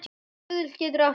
Stuðull getur átt við